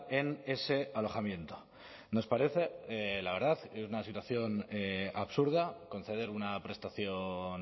en ese alojamiento nos parece la verdad una situación absurda conceder una prestación